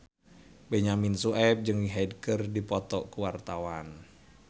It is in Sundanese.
Benyamin Sueb jeung Hyde keur dipoto ku wartawan